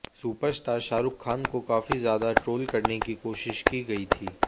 superstar Shahrukh Khan को काफी ज्यादा ट्रोल करने की कोशिश की गई थी